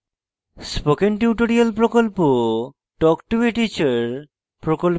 spoken tutorial প্রকল্প talk to a teacher প্রকল্পের অংশবিশেষ